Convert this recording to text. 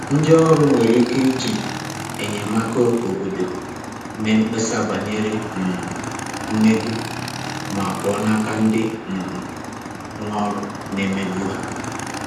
Ndị ọrụ nwere ike iji enyemaka obodo mee mkpesa banyere um mmegbu ma pụọ n'aka ndị um nwe ọrụ na-emegbu ha.